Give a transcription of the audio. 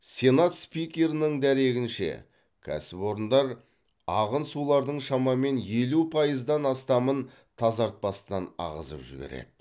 сенат спикерінің дәрегінше кәсіпорындар ағын сулардың шамамен елу пайыздан астамын тазартпастан ағызып жібереді